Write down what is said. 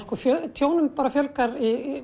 tjónum fjölgar